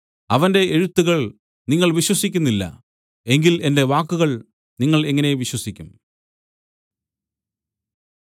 അവന്റെ എഴുത്തുകൾ നിങ്ങൾ വിശ്വസിക്കുന്നില്ല എങ്കിൽ എന്റെ വാക്കുകൾ നിങ്ങൾ എങ്ങനെ വിശ്വസിക്കും